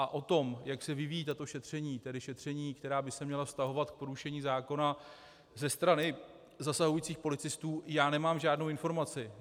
A o tom, jak se vyvíjejí tato šetření, tedy šetření, která by se měla vztahovat k porušení zákona ze strany zasahujících policistů, já nemám žádnou informaci.